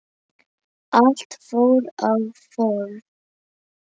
Allt fór á hvolf.